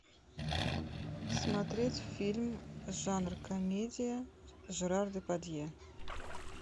смотреть фильм жанр комедия жерар депардье